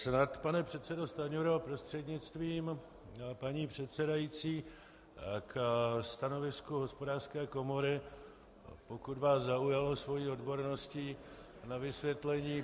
Snad, pane předsedo Stanjuro prostřednictvím paní předsedající, k stanovisku Hospodářské komory, pokud vás zaujalo svou odborností, na vysvětlení.